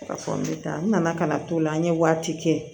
Ka fɔ n bɛ taa n nana ka na to la an ye waati kɛ